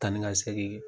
Taa ni ka segin ye